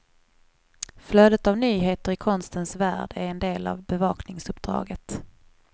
Flödet av nyheter i konstens värld är en del av bevakningsuppdraget.